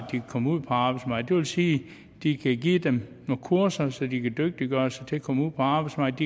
kan komme ud på arbejdsmarkedet sige at de kan give dem nogle kurser så de kan dygtiggøre sig til at komme ud på arbejdsmarkedet